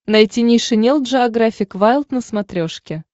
найти нейшенел джеографик вайлд на смотрешке